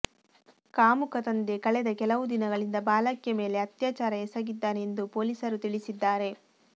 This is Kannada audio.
ಕಾಮುಕ ತಂದೆ ಕಳೆದ ಕೆಲವು ದಿನಗಳಿಂದ ಬಾಲಕಿಯ ಮೇಲೆ ಅತ್ಯಾಚಾರ ಎಸಗಿದ್ದಾನೆ ಎಂದು ಪೊಲೀಸರು ತಿಳಿಸಿದ್ದಾರೆ